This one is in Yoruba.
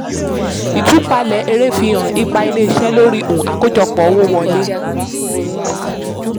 ìtúpalẹ̀ èrè fihan ipa ilé-iṣẹ́ lórí um àkójọpọ̀ owó wọlé.